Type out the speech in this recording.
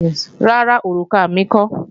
Rárá, òrùka mi kọ́